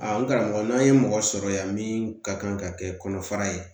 n karamɔgɔ n'an ye mɔgɔ sɔrɔ yan min ka kan ka kɛ kɔnɔfara ye